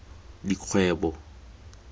dikgwebo